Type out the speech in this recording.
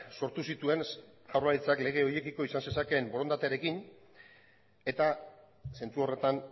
sortu zituen jaurlaritzak lege horiekiko izan zezakeen borondatearekin eta zentzu horretan